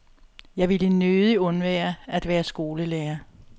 Jeg ville nødig undvære at være skolelærer.